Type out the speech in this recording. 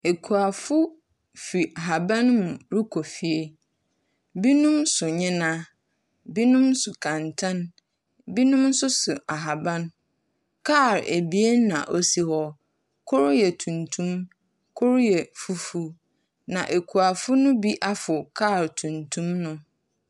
Akuafo fi ahaban mu rekɔ fie. Binomso nnyena. Binom so kɛntɛn. Binom nso so ahaban. Kar abien na osi hɔ, kor yɛ tuntum. Kor yɛ fufuw. Na akuafo no bi afow kar tuntum no.